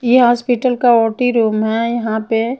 ये हॉस्पिटल का OT room है यहां पे --